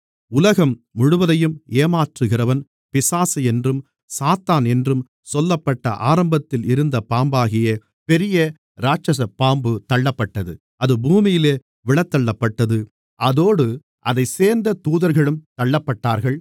உலகம் முழுவதையும் ஏமாற்றுகிறவன் பிசாசு என்றும் சாத்தான் என்றும் சொல்லப்பட்ட ஆரம்பத்தில் இருந்த பாம்பாகிய பெரிய இராட்சசப் பாம்பு தள்ளப்பட்டது அது பூமியிலே விழத்தள்ளப்பட்டது அதோடு அதைச் சேர்ந்த தூதர்களும் தள்ளப்பட்டார்கள்